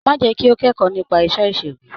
Má jẹ́ kí ó kẹ́kọ̀ọ́ nípa iṣẹ́ ìṣègùn.